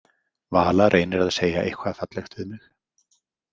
Vala reynir að segja eitthvað fallegt við mig.